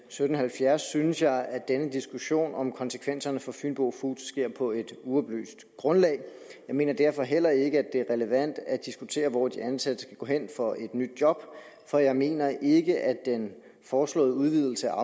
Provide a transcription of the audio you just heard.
sytten halvfjerds synes jeg at denne diskussion om konsekvenserne for fynbo foods sker på et uoplyst grundlag jeg mener derfor heller ikke at det er relevant at diskutere hvor de ansatte skal gå hen for at få et nyt job for jeg mener ikke at den foreslåede udvidelse